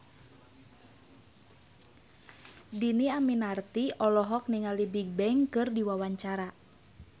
Dhini Aminarti olohok ningali Bigbang keur diwawancara